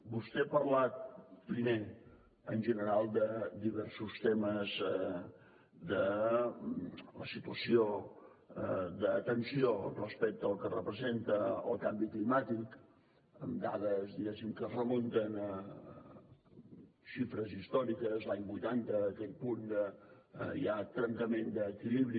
vostè ha parlat primer en general de diversos temes de la situació d’atenció respecte al que representa el canvi climàtic amb dades diguéssim que es remunten a xifres històriques l’any vuitanta aquell punt de ja trencament d’equilibri